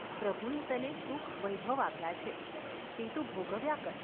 પ્રભુએ તને સુખ વૈભવ આપ્યાં છે તે તું ભોગવ્યા કર.